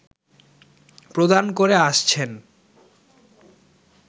প্রদান করে আসছেন